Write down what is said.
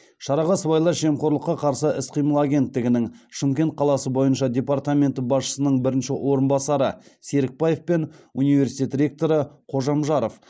шараға сыбайлас жемқорлыққа қарсы іс қимыл агенттігінің шымкент қаласы бойынша департаменті басшысының бірінші орынбасары серікбаев пен университет ректоры қожамжаров